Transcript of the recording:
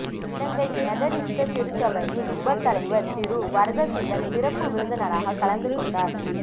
இலங்கை Methodist திருச்சபை யின் உப தலைவர் திரு வரதசீலன் சிறப்பு விருந்தினராக கலந்து கொண்டார்